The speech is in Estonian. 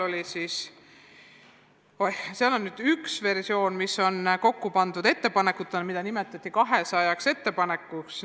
On veel üks dokument, mis on kokku pandud ettepanekutena, mida nimetatakse 200 ettepanekuks.